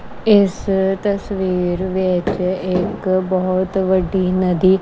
ਇੱਸ ਤਸਵੀਰ ਵਿੱਚ ਇੱਕ ਬਹੁਤ ਵੱਡੀ ਨਦੀ--